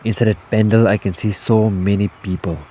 Inside a pendal I can see so many people.